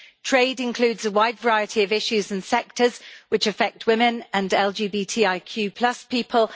Trade includes a wide variety of issues and sectors, which affect women and LGBTIQ people.